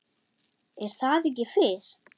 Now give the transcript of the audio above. Er það ekki Fis?